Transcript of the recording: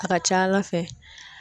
A ka ca ala fɛ